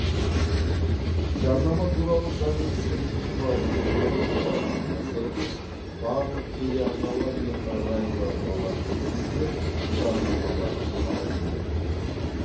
жарнама туралы заңның сегізінші бабының төртінші тармағына сәйкес барлық телеарналар мен радиоарналар кестесінен жарнамалар алынуы тиіс